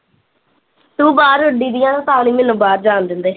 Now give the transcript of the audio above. ਤੂੰ ਬਾਹਰ ਉੱਡੀਂ ਦੀ ਆ ਨੇ ਤਾਂ ਨੀ ਮੈਨੂੰ ਬਹੈ ਜਾਣ ਦਿੰਦੇ